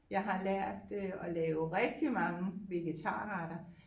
Jeg har lært øh at lave rigtig mange vegetarretter